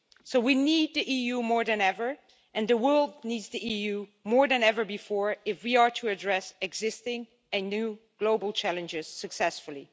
So we need the EU more than ever, and the world needs the EU more than ever before if we are to address existing and new global challenges successfully.